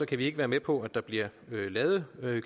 kan vi ikke være med på at der bliver lavet